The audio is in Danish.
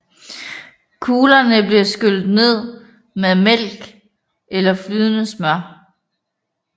Kuglerne bliver skyllet ned med mælk eller flydende smør